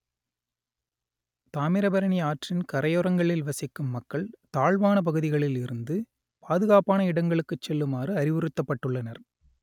தாமிரபரணி ஆற்றின் கரையோரங்களில் வசிக்கும் மக்கள் தாழ்வான பகுதிகளில் இருந்து பாதுகாப்பான இடங்களுக்கு செல்லுமாறு அறிவுறுத்தப்பட்டுள்ளனர்